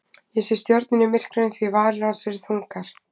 Ég sé stjörnur í myrkrinu því að varir hans eru þungar.